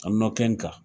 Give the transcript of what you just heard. A nɔkɔn kan